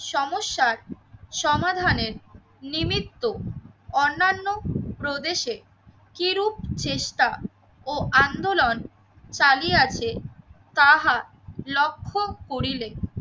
সমস্যার সমাধানের নিমিত্ত অন্যান্য প্রদেশে কিরূপ চেষ্টা ও আন্দোলন চালিয়ে আছে তাহা লক্ষ্য করিলে